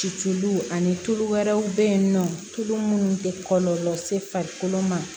Ciluw ani tulu wɛrɛw bɛ yen nɔ tulu minnu tɛ kɔlɔlɔ se farikolo ma